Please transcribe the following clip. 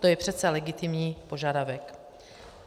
To je přece legitimní požadavek.